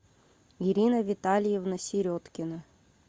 ирина витальевна середкина